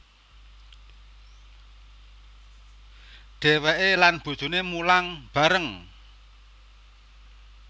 Dheweke lan bojoné mulang bareng